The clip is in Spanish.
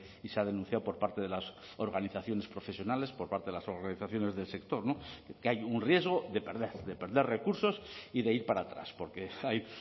y se ha denunciado por parte de las organizaciones profesionales por parte de las organizaciones del sector que hay un riesgo de perder de perder recursos y de ir para atrás porque hay